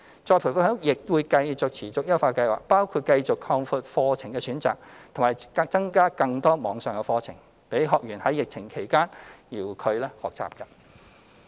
再培訓局亦會持續優化計劃，包括繼續擴闊課程選擇，並增加更多網上課程，供學員在疫情期間遙距學習。